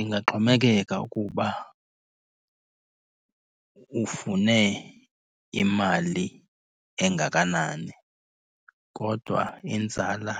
Ingaxhomekeka ukuba ufune imali engakanani kodwa inzala